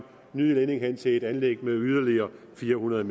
ny ledning hen til et tredje anlæg på yderligere fire hundrede